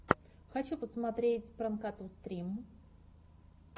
хочу посмотреть пранкоту стрим